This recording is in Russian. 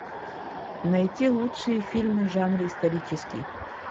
найти лучшие фильмы в жанре исторический